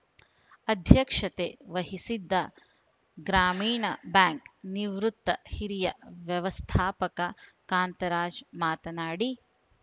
ಅಧ್ಯಕ್ಷತೆ ವಹಿಸಿದ್ದ ಗ್ರಾಮೀಣ ಬ್ಯಾಂಕ್‌ ನಿವೃತ್ತ ಹಿರಿಯ ವ್ಯವಸ್ಥಾಪಕ ಕಾಂತರಾಜ್‌ ಮಾತನಾಡಿ